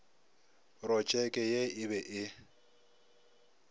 protšeke ye e be e